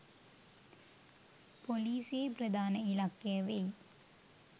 පොලිසියේ ප්‍රධාන ඉලක්කය වෙයි